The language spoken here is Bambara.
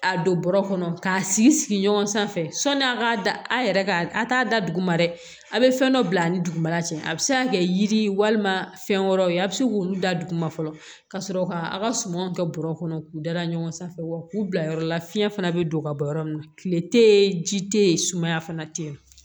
A don bɔrɔ kɔnɔ k'a sigi sigi ɲɔgɔn sanfɛ sɔni a ka da a yɛrɛ ka a t'a da duguma dɛ a bɛ fɛn dɔ bila ani dugumana cɛ a bɛ se ka kɛ yiri walima fɛn wɛrɛw ye a bɛ se k'olu da dugu ma fɔlɔ ka sɔrɔ k'a ka sumanw kɛ bɔrɔ kɔnɔ k'u dara ɲɔgɔn sanfɛ wa k'u bila yɔrɔ la fiɲɛ fana bɛ don ka bɔ yɔrɔ min na tile tɛ yen ji tɛ yen sumaya fana tɛ ye